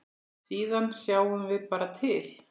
Síðan sjáum við bara til.